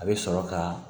A bɛ sɔrɔ ka